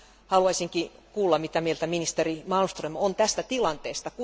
Haluaisinkin kuulla, mitä mieltä ministeri Malmström on tästä tilanteesta.